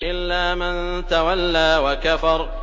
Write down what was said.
إِلَّا مَن تَوَلَّىٰ وَكَفَرَ